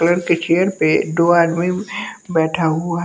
colour के chair पे डो आदमी बैठा हुआ--